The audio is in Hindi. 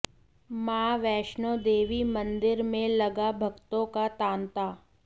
मां वैष्णो देवी मंदिर में लगा भक्तों का तांता